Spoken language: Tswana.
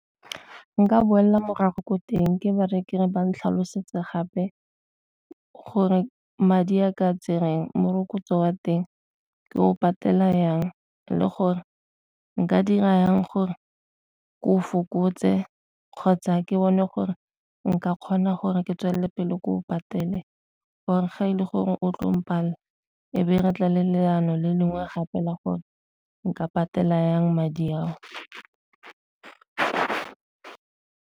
Ka nka boelela morago ko teng ke ba reye ke re ba ntlhalosetsa gape gore madi a ka tsereng morokotso wa teng ke o patela jang, le gore nka dira jang gore ko o fokotse kgotsa ke bone gore nka kgona gore ke tswelele pele o patele gore ga e le gore o tlo palela, e be re tla le leano le lengwe gape la gore nka patela jang madi a o.